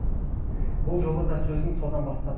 бұл жолы да сөзін содан бастады